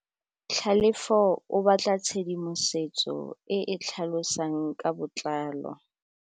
Tlhalefô o batla tshedimosetsô e e tlhalosang ka botlalô.